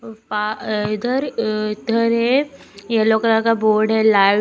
अ इधर अ इधर है येलो कलर का बोर्ड है लाइट--